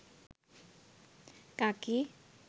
কাকি